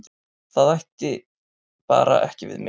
Það ætti bara ekki við mig.